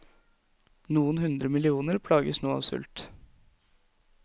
Noen hundre millioner plages nå av sult.